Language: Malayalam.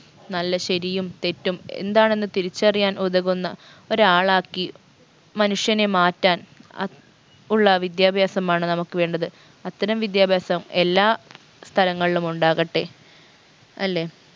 നല്ല ശരിയും തെറ്റും എന്താണെന്ന് തിരിച്ചറിയാൻ ഉതകുന്ന ഒരാളാക്കി മനുഷ്യനെ മാറ്റാൻ അഹ് ഉള്ള വിദ്യാഭ്യാസമാണ് നമുക്ക് വേണ്ടത് അത്തരം വിദ്യാഭ്യാസം എല്ലാ സ്ഥലങ്ങളിലും ഉണ്ടാകട്ടെ അല്ലെ